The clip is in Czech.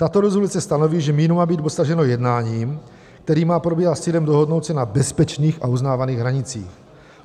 Tato rezoluce stanoví, že míru má být dosaženo jednáním, které má probíhat s cílem dohodnout se na bezpečných a uznávaných hranicích.